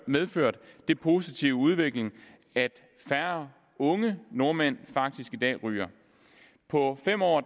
medført den positive udvikling at færre unge nordmænd faktisk i dag ryger og på fem år